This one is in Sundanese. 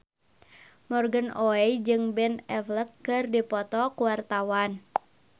Morgan Oey jeung Ben Affleck keur dipoto ku wartawan